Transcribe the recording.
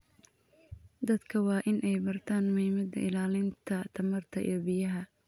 Dadka waa in ay bartaan muhiimada ilaalinta tamarta iyo biyaha.